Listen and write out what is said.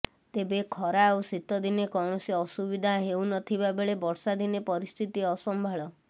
ତେବେ ଖରା ଓ ଶୀତଦିନେ କୌଣସି ଅସୁବିଧା ହେଉ ନ ଥିବା ବେଳେ ବର୍ଷାଦିନେ ପରିସ୍ଥିତି ଅସମ୍ଭାଳ